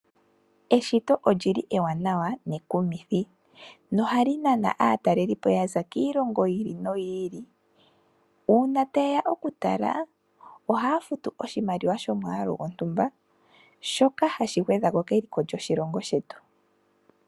Eshito olyili ewanawa nekumithi no ohali nana aatalelipo yaza kiilongo yi ili noyi ili uuna ta yeya okutala ohaa futu oshimaliwa shomwaalu shontumba shoka hashi gwedhako keliko lyoshilongo shetu.